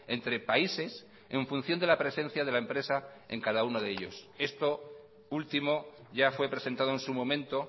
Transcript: entre países en función de la presencia de la empresa en cada uno de ellos esto último ya fue presentado en su momento